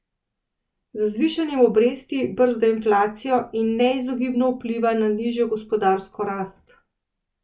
Z zvišanjem obresti brzda inflacijo in neizogibno vpliva na nižjo gospodarsko rast.